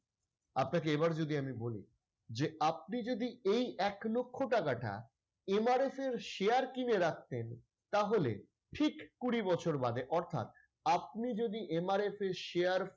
আপনাকে এবার যদি আমি বলি যে আপনি যদি এক লক্ষ টাকা টা MRS এর share কিনে রাখতেন তাহলে ঠিক কুড়ি বছর বাদে অর্থাৎ আপনি যদি MRS এর share